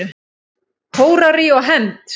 Hórarí og hefnd?